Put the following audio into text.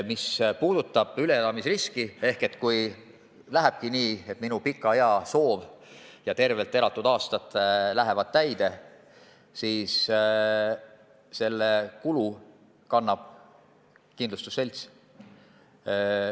Mis puudutab üleelamisriski ehk seda, kui lähebki nii, et minu pika ea ja tervelt elatud aastate soov täitub, siis sellega kaasneva kulu kannab kindlustusselts.